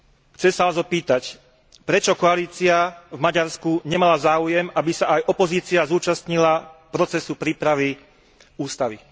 Chcem sa vás opýtať, prečo koalícia v Maďarsku nemala záujem, aby sa aj opozícia zúčastnila procesu prípravy ústavy.